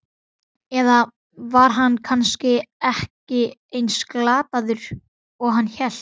Eða var hann kannski ekki eins glataður og hann hélt?